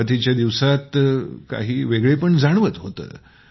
सुरूवातीच्या दिवसात काही वेगळेंपण जाणवत होतं